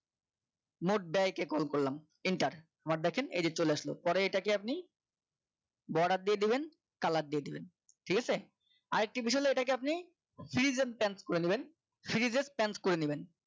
মোট ব্যয় কে call করলাম enter word দেখেন এই যে চলে আসলো পরে এটা কে আপনি border দিয়ে দিবেন colour দিয়ে দেবেন ঠিক আছে আরেকটি বিষয় হলে এটাকে আপনি series and dance করে নেবেন series and dance করে নেবেন